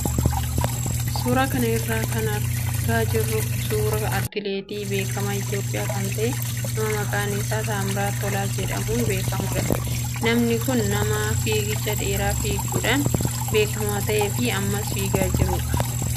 Suuraa kana irraa kan argaa jirru suuraa atileetii beekamaa Itoophiyaa kan ta'e nama maqaan isaa Taammiraat Tolaa jedhamuun beekamudha. Namni kun nama fiigicha dheeraa fiiguudhaan beekamaa ta'ee fi ammas fiigaa jiru agarsiisa.